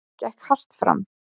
Gekk hart fram.